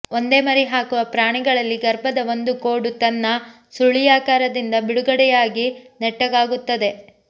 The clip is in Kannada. ಒಂದೇ ಮರಿ ಹಾಕುವ ಪ್ರಾಣಿಗಳಲ್ಲಿ ಗರ್ಭದ ಒಂದು ಕೋಡು ತನ್ನ ಸುರುಳಿಯಾಕಾರದಿಂದ ಬಿಡುಗಡೆಯಾಗಿ ನೆಟ್ಟಗಾಗುತ್ತದೆ